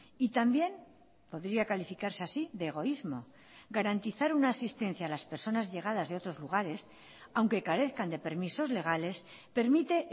y también podría calificarse así de egoísmo garantizar una asistencia a las personas llegadas de otros lugares aunque carezcan de permisos legales permite